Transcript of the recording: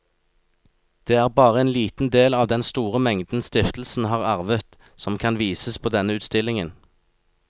Det er bare en liten del av den store mengden stiftelsen har arvet, som kan vises på denne utstillingen.